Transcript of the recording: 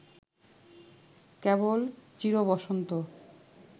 কেবল চিরবসন্ত